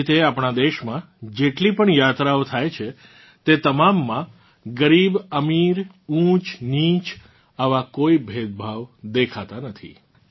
આવી જ રીતે આપણાં દેશમાં જેટલી પણ યાત્રાઓ થાય છે તે તમામમાં ગરીબઅમીર ઊંચનીચ આવાં કોઇ ભેદભાવ દેખાતા નથી